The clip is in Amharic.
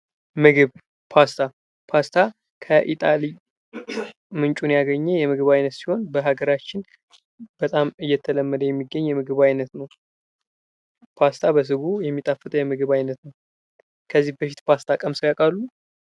ምግብ ፣ፓስታ ፓስታ ከኢታሊ ምንጩን ያገኘ የምግብ አይነት ሲሆን በሀገራችን በጣም እየተለመደ የሚገኝ የምግብ አይነት ነው። ፓስታ በስጎ የሚጣፍጥ የምግብ አይነት ነው። ከዚህ በፊት ፓስታ ቀምሰው ያውቃሉ?